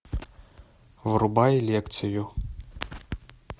врубай лекцию